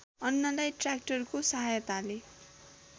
अन्नलाई ट्र्याक्टरको सहायताले